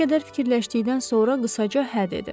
Bir qədər fikirləşdikdən sonra qısaca hə dedi.